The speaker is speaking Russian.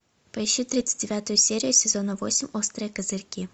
поищи тридцать девятую серию сезона восемь острые козырьки